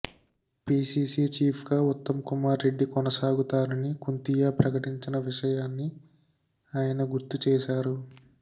PCC చీఫ్గా ఉత్తమ్కుమార్ రెడ్డి కొనసాగుతారని కుంతియా ప్రకటించిన విషయాన్ని ఆయన గుర్తు చేశారు